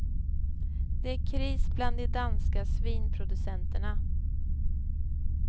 Det är kris bland de danska svinproducenterna.